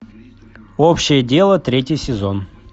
общее дело третий сезон